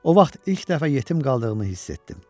O vaxt ilk dəfə yetim qaldığımı hiss etdim.